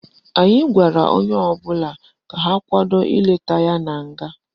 Anyị gwara onye ọbụla ka ha kwado ileta ya na nga